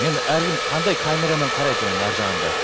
енді әркім қандай камерамен қарайды оның арғы жағында